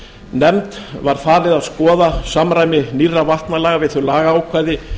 nefnd var falið að skoða samræmi nýrra vatnalaga við þau lagaákvæði